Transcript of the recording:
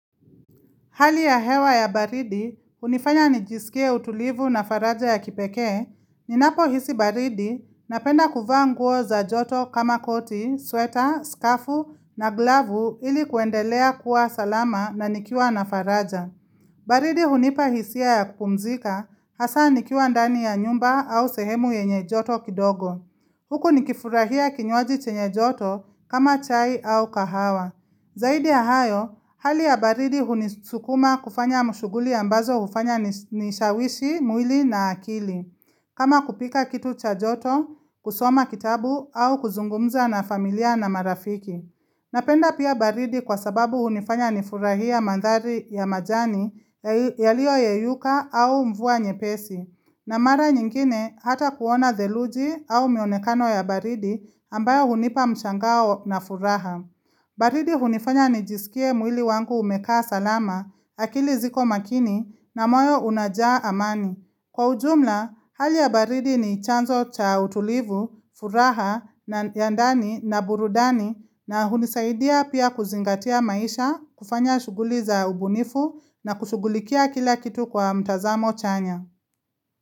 Hali ya hewa ya baridi, hunifanya nijisikie utulivu na faraja ya kipeke. Ninapo hisi baridi, napenda kuvaa nguo za joto kama koti, sweta, skafu, na glavu ili kuendelea kuwa salama na nikiwa na faraja. Baridi hunipa hisia ya kupumzika, hasa nikiwa ndani ya nyumba au sehemu yenye joto kidogo. Huku nikifurahia kinywaji chenye joto kama chai au kahawa. Zaidi ya hayo, hali ya baridi hunisukuma kufanya shughuli ambazo hufanya nishawishi, mwili na akili. Kama kupika kitu cha joto, kusoma kitabu au kuzungumza na familia na marafiki. Napenda pia baridi kwa sababu hunifanya nifurahia madhari ya majani yaliyoyeyuka au mvua nyepesi. Na mara nyingine hata kuona theluji au mionekano ya baridi ambayo hunipa mshangao na furaha. Baridi hunifanya ni jisikie mwili wangu umekaa salama, akili ziko makini na moyo unajaa amani. Kwa ujumla, hali ya baridi ni chanzo cha utulivu, furaha, ya ndani na burudani na hunisaidia pia kuzingatia maisha, kufanya shughuli za ubunifu na kushughulikia kila kitu kwa mtazamo chanya.